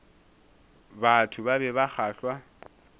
batho ba be ba kgahlwa